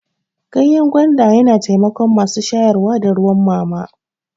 Ganyan gwanda yana taimakon masu shayarwa da ruwan mama.